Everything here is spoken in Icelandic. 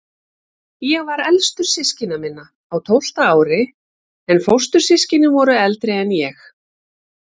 Ég var elstur systkina minna, á tólfta ári, en fóstur- systkinin voru eldri en ég.